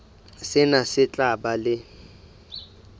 sena se tla ba le